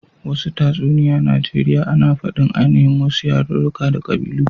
Wasu tatsuniya Najeriya ana fadin aininhin wasu yaruruka da kabilu.